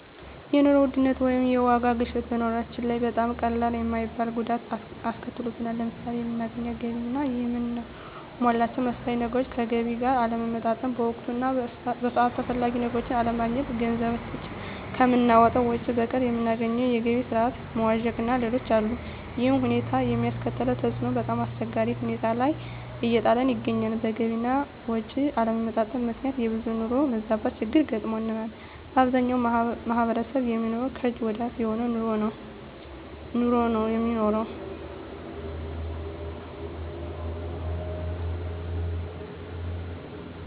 የኑሮ ውድነት ወይም የዋጋ ግሽበት በኑሮአችን ላይ በጣም ቀላል የማይባል ጉዳት አስከትሎብናል። ለምሳሌ የምናገኘው ገቢ እና የምናሟላቸው መሠረታዊ ነገሮች ከገቢ ጋር አለመመጣጠን፣ በወቅቱ እና በሰዓቱ ተፈላጊ ነገሮችን አለማግኘት፣ ገንዘባችን ከምናወጣው ወጭ በቀር የምናገኘው የገቢ ስረዓት መዋዠቅእና ሌሎችም አሉ። ይሕም ሁኔታ የሚያስከትለው ተፅዕኖ በጣምአስቸጋሪ ሁኔታ ላይ እየጣለን ይገኛል። በገቢ አና ወጭ አለመመጣጠን ምክንያት የብዙሀን የኑሮ መዛባት ችግር ገጥሞናል። በአብዛኛው ማሕበረሰብ የሚኖረው ከእጅ ወደ አፍ የሆነ ኑሮ ነው የሚኖረው።